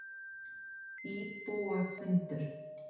Þetta er bráðmyndarlegur maður, sagði mamma.